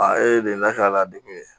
e de lakana degun ye